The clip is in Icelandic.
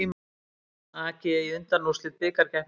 AG í undanúrslit bikarkeppninnar